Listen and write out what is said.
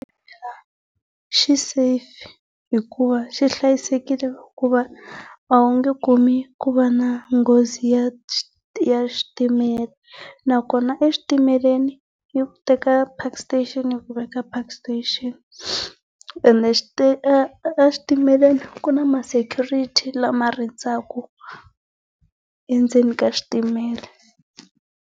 Xi safe hikuva xi hlayisekile hikuva a wu nge kumi ku va na nghozi ya ya switimela. Nakona eswitimeleni, yi ku teka Park Station yi ku veka Park Station. Ene exitimeleni ku na ma security lama rindzaka endzeni ka xitimela.